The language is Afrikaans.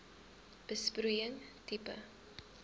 besproeiing tipe